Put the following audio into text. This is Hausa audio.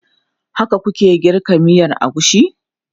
Haka ku ke girka miyan agushi?